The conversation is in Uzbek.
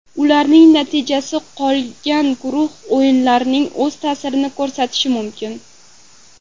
Ularning natijasi qolgan guruh o‘yinlariga o‘z ta’sirini ko‘rsatishi mumkin.